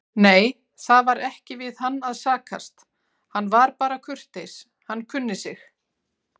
Nei, það var ekki við hann að sakast, hann var bara kurteis, hann kunni sig.